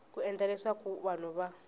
ku endlela leswaku vanhu va